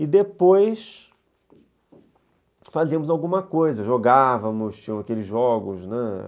E depois fazíamos alguma coisa, jogávamos, tinham aqueles jogos, né?